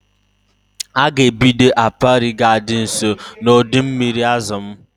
A ga-ebido apiary ga-adi nso na ọdọ mmiri azụ m